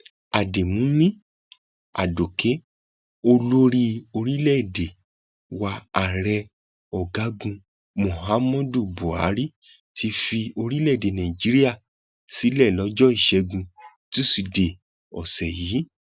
àdèmúmí adókè olórí orílẹèdè wa ààrẹ ọgágun muhammadu buhari ti fi orílẹèdè nàíjíríà sílẹ lọjọ ìṣẹgun túṣídéé ọsẹ yìí